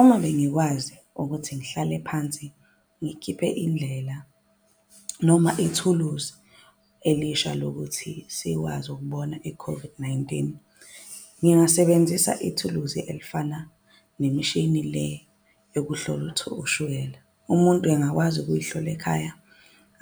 Uma bengikwazi ukuthi ngihlale phansi ngikhiphe indlela noma ithuluzi elisha lokuthi sikwazi ukubona i-COVID-19. Ngingasebenzisa ithuluzi elifana nemishini le yokuhlola ushukela. Umuntu engakwazi ukuy'hlola ekhaya,